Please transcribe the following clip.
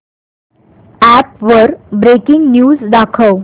app वर breaking news दाखव